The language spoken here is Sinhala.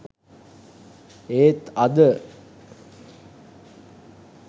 ඒත් අද